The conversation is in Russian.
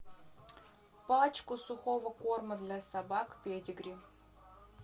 пачку сухого корма для собак педигри